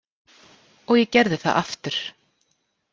Og ég gerði það aftur.